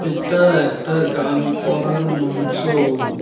এটা একটা গান করার মঞ্চ।